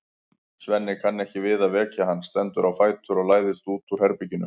Svenni kann ekki við að vekja hann, stendur á fætur og læðist út úr herberginu.